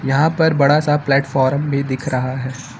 यहां पर बड़ा सा प्लेटफार्म भी दिख रहा है।